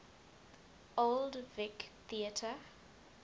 old vic theatre